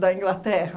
Da Inglaterra.